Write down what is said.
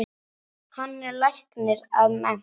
Hann er læknir að mennt.